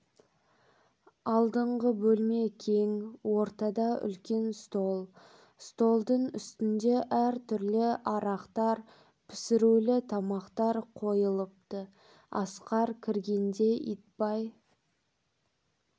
алдыңғы бөлме кең ортада үлкен стол столдың үстінде әртүрлі арақтар пісірулі тамақтар қойылыпты асқар кіргенде итбай